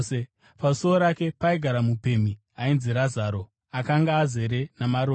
Pasuo rake paigara mupemhi ainzi Razaro, akanga azere namaronda